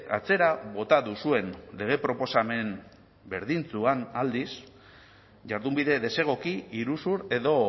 atzera bota duzuen lege proposamen berdintsuan aldiz jardunbide desegoki iruzur edo